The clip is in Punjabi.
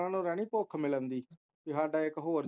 ਹੁਣ ਓਹਨੂੰ ਰਹਿਣੀ ਭੁੱਖ ਮਿਲਣ ਦੀ, ਕਿ ਸਾਡਾ ਇੱਕ ਹੋਰ